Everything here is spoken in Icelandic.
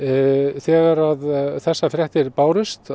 þegar þessar fréttir bárust